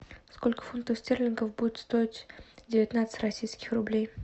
сколько фунтов стерлингов будет стоить девятнадцать российских рублей